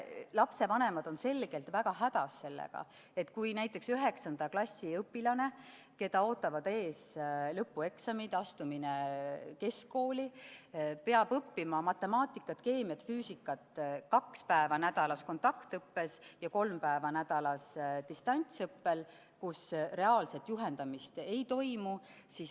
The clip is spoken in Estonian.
Lapsevanemad on selgelt väga hädas sellega, et näiteks 9. klassi õpilane, keda ootavad ees lõpueksamid, astumine keskkooli, peab õppima matemaatikat, keemiat, füüsikat kaks päeva nädalas kontaktõppes ja kolm päeva nädalas distantsõppes, kus reaalset juhendamist ei toimu.